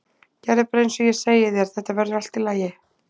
Gerðu bara eins og ég segi þér, þetta verður allt í lagi.